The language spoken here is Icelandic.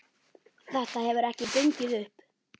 Þetta hefur ekki gengið upp.